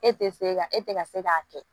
E tɛ se ka e tɛ ka se k'a kɛ